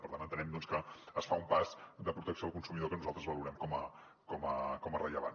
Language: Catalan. per tant entenem doncs que es fa un pas de protecció al consumidor que nosaltres valorem com a rellevant